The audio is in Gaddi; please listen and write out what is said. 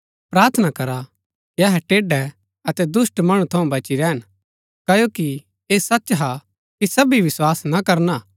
प्रार्थना करा कि अहै टेढै अतै दुष्‍ट मणु थऊँ बची रैहन क्ओकि ऐह सच हा कि सबी विस्वास ना करना हा